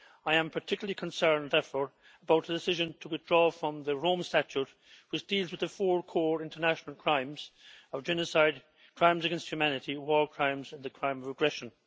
I am particularly concerned, therefore, about the decision to withdraw from the Rome Statute, which deals with the four core international crimes of genocide, crimes against humanity, war crimes and the crime of aggression.